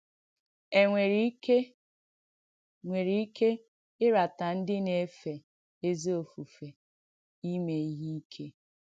È nwèrè ìkè nwèrè ìkè ìràtà ndí nà-èfé èzí òfùfè ìmé ìhé ìkè?